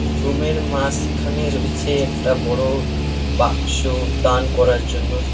রুমের মাঝখানে রয়েছে একটা বড়ো বাক্স দান করার জন্য।